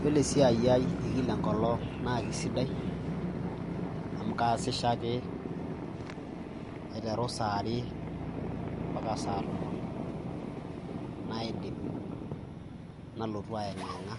Iyiolo esiai ai eekila enkolong' naake sidai amu kaasisho ake aiteru saa are mpaka saa tomon naidip, nalotu aiyeng'iyeng'a